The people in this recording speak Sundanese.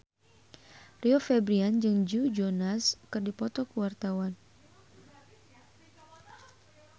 Rio Febrian jeung Joe Jonas keur dipoto ku wartawan